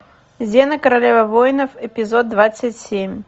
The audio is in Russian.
зена королева воинов эпизод двадцать семь